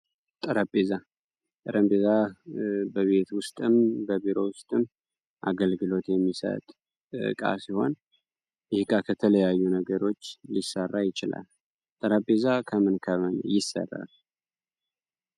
ጠረጴዛ ጠረጴዛ በቤት ውስጥም በቢሮ ውስጥም አገልግሎት የሚሰጥ ዕቃ ሲሆን ፤ ይህ እቃ ከተለያዩ ነገሮች ሊሰራ ይችላል። ጠረጴዛ ከምን ከምን ይሠራል?